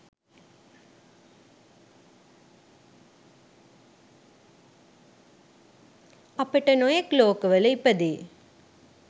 අපට නොයෙක් ලෝකවල ඉපදෙ